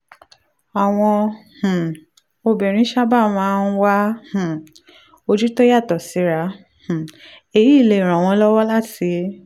àwọn um obìnrin sábà máa ń wá um ojú tó yàtọ̀ síra um èyí lè ràn wọ́n lọ́wọ́ láti